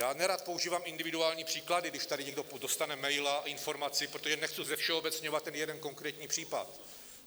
Já nerad používám individuální příklady, když tady někdo dostane mail, informaci, protože nechci zevšeobecňovat ten jeden konkrétní případ.